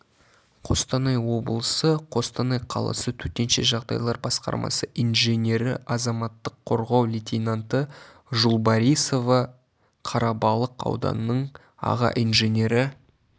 қостанай облысы қостанай қаласы төтенше жағдайлар басқармасы инженері азаматтық қорғау лейтенанты жулбарисова қарабалық ауданының аға инженері